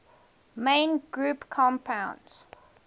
main group compounds